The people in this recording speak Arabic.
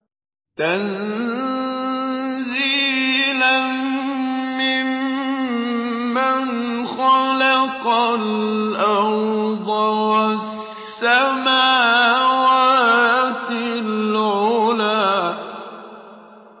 تَنزِيلًا مِّمَّنْ خَلَقَ الْأَرْضَ وَالسَّمَاوَاتِ الْعُلَى